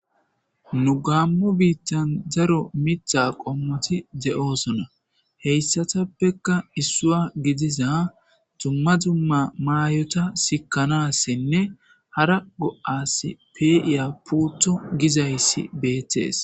Nu gamo bittani daro mitha qommoti de'osona hessatapeka issuwa gidiza duma duma mayor's sikanasinne hara go'asi pe'iya puuto gizaysi betees.